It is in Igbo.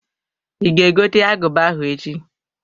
I ga egote aguba ahụ echi?